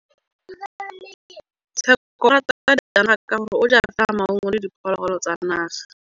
Tshekô o rata ditsanaga ka gore o ja fela maungo le diphologolo tsa naga.